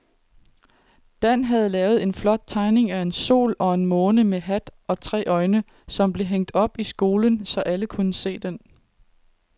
Dan havde lavet en flot tegning af en sol og en måne med hat og tre øjne, som blev hængt op i skolen, så alle kunne se den.